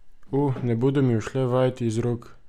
O, ne bodo mi ušle vajeti iz rok.